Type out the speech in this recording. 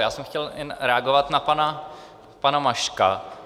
Já jsem chtěl jen reagovat na pana Maška.